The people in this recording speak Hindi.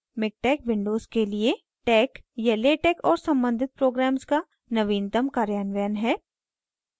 miktex windows के लिए tex या latex और सम्बंधित programs का नवीनतम कार्यान्वयन है